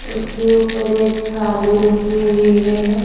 उसके ऊपर एक थाली रखी हुई है।